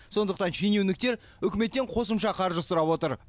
сондықтан шенеуніктер үкіметтен қосымша қаржы сұрап отыр